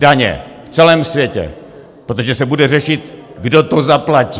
Daně v celém světě, protože se bude řešit, kdo to zaplatí.